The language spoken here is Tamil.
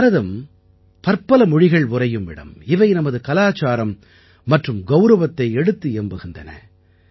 பாரதம் பற்பல மொழிகள் உறையும் இடம் இவை நமது கலாச்சாரம் மற்றும் கௌரவத்தை எடுத்து இயம்புகின்றன